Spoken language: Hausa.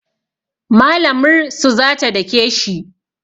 Malamr su za ta dake shi